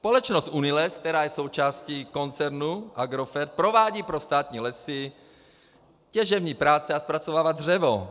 Společnost Uniles, která je součástí koncernu Agrofert, provádí pro státní lesy těžební práce a zpracovává dřevo.